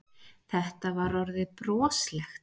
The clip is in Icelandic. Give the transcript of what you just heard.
Þetta var orðið broslegt.